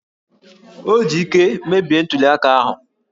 O ji íké mebie ntuli aka ahụ!